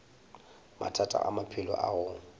mathata a maphelo a go